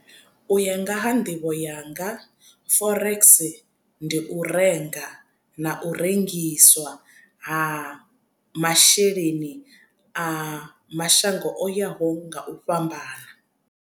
U ya nga ha nḓivho yanga forex ndi u renga na u rengiswa ha masheleni a mashango o yaho nga u fhambana.